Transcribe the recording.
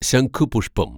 ശംഖുപുഷ്പം